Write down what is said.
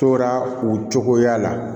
Tora o cogoya la